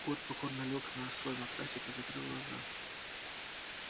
кот покорно лёг на свой матрасик и закрыл глаза